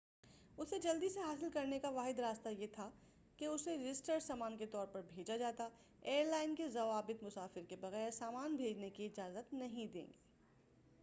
اسے جلدی سے حاصل کرنے کا واحد راستہ یہ تھا کہ اسے رجسٹرڈ سامان کے طور پر بھیجا جاتا ایئر لائن کے ضوابط مسافر کے بغیر سامان بھیجنے کی اجازت نہیں دیں گے